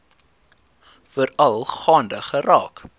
veral gaande geraak